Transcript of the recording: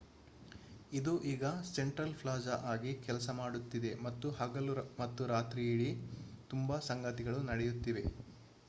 ಇದು ಈಗ central plaza ಆಗಿ ಕೆಲಸ ಮಾಡುತ್ತಿದೆ ಮತ್ತು ಹಗಲು ಮತ್ತು ರಾತ್ರಿಯಿಡೀ ತುಂಬಾ ಸಂಗತಿಗಳು ನಡೆಯುತ್ತಿವೆ